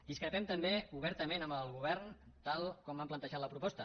discrepem també obertament amb el govern tal com ha plantejat la proposta